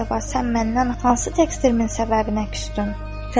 Əcəba, sən məndən hansı təqsirimin səbəbinə küsdün?